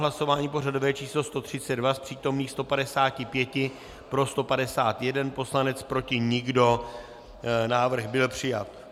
Hlasování pořadové číslo 132, z přítomných 155 pro 151 poslanec, proti nikdo, návrh byl přijat.